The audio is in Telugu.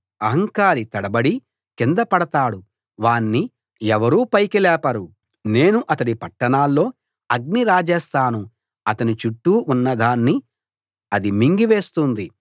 అహంకారి తడబడి కింద పడతాడు వాణ్ణి ఎవరూ పైకి లేపరు నేను అతడి పట్టణాల్లో అగ్ని రాజేస్తాను అతని చుట్టూ ఉన్నదాన్ని అది మింగి వేస్తుంది